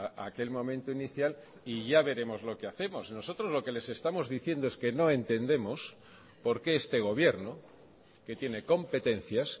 a aquel momento inicial y ya veremos lo que hacemos nosotros lo que les estamos diciendo es que no entendemos por qué este gobierno que tiene competencias